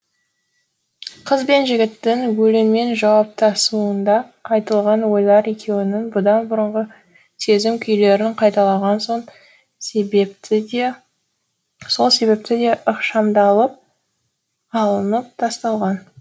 қыз бен жігіттің өлеңмен жауаптасуында айтылған ойлар екеуінің бұдан бұрынғы сезім күйлерін қайталаған сол себепті де ықшамдалып алынып тасталған